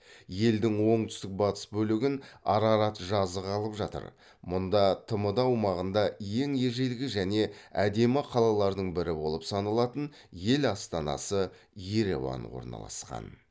елдің оңтүстік батыс бөлігін арарат жазығы алып жатыр мұнда тмд аумағында ең ежелгі және әдемі калалардың бірі болып саналатын ел астанасы ереван орналасқан